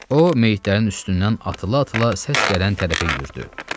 O meyitlərin üstündən atıla-atıla səs gələn tərəfə yürüdü.